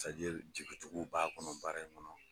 jigi tugu b'a kɔnɔ baara in kɔnɔ.